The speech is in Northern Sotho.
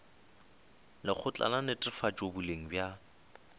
lekgotla la netefatšo boleng bja